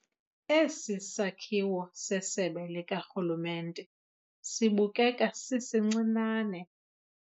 Esi sakhiwo sesebe likarhulumente sibukeka sisincinane.